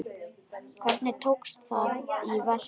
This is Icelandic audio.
Hvernig tókst það í verki?